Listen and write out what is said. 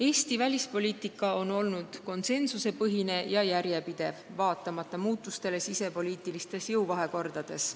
Eesti välispoliitika on olnud konsensusepõhine ja järjepidev, vaatamata muutustele sisepoliitilistes jõuvahekordades.